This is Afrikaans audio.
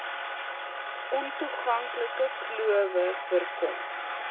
ontoeganklike klowe voorkom